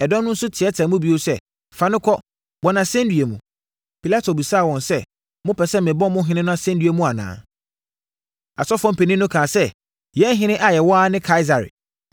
Ɛdɔm no nso teateaa mu bio sɛ, “Fa no kɔ! Bɔ no asɛnnua mu!” Pilato bisaa wɔn sɛ, “Mopɛ sɛ mebɔ mo ɔhene no asɛnnua mu anaa?” Asɔfoɔ mpanin no kaa sɛ, “Yɛn ɔhene a yɛwɔ ara ne Kaesare!”